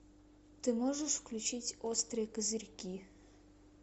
ты можешь включить острые козырьки